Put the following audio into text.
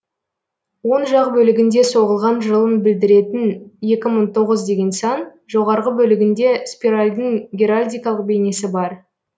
оң жақ бөлігінде соғылған жылын білдіретін екі мың тоғыз деген сан жоғарғы бөлігінде спиральдың геральдикалық бейнесі бар